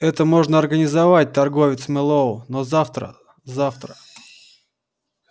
это можно организовать торговец мэллоу но завтра завтра